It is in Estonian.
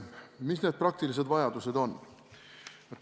Mis need praktilised vajadused on?